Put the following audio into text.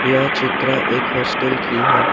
यह चित्र एक हॉस्टल की है।